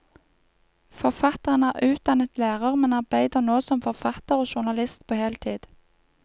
Forfatteren er utdannet lærer, men arbeider nå som forfatter og journalist på heltid.